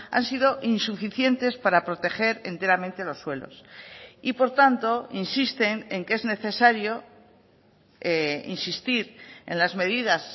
han sido insuficientes para proteger enteramente los suelos y por tanto insisten en que es necesario insistir en las medidas